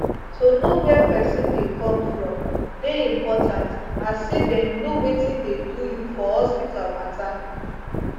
to know where pesin dey come from dey important as say dem know wetin dey do you for hospital matter